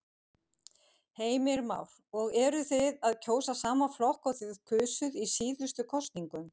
Heimir Már: Og eruð þið að kjósa sama flokk og þið kusuð í síðustu kosningum?